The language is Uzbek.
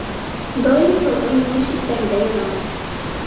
Doim sovrin yutish istagida yonaman.